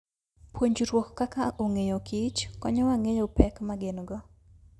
Puonjruok kaka ong'eyo kich konyowa ng'eyo pek ma gin go.